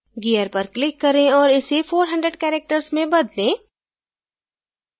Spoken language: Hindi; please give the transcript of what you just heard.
gear पर click करें और इसे 400 characters में बदलें